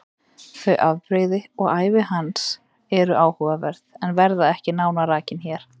Þau afbrigði og ævi hans eru áhugaverð en verða ekki nánar rakin hér.